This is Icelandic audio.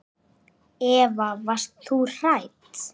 Eva: Varst þú hrædd?